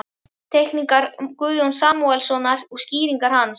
Teikningar Guðjóns Samúelssonar og skýringar hans.